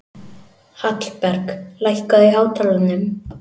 Hallberg, lækkaðu í hátalaranum.